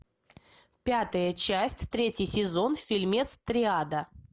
пятая часть третий сезон фильмец триада